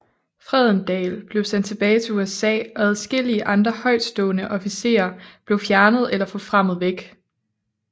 Fredendall blev sendt tilbage til USA og adskillige andre højtstående officerer blev fjernet eller forfremmet væk